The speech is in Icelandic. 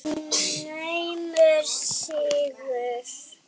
Naumur sigur.